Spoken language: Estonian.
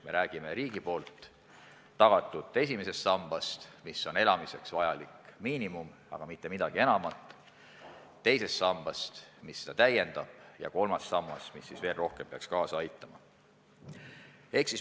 Me räägime riigi tagatud esimesest sambast, mis on elamiseks vajalik miinimum, aga ei midagi enamat; teisest sambast, mis seda täiendab, ja kolmandast sambast, mis peaks veel rohkem kaasa aitama.